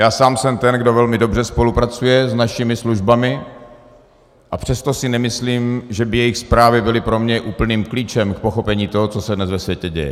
Já sám jsem ten, kdo velmi dobře spolupracuje s našimi službami, a přesto si nemyslím, že by jejich zprávy byly pro mě úplným klíčem k pochopení toho, co se dnes ve světě děje.